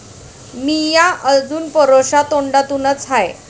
मिय्या अजुन परोशा तोंडानुच हाय.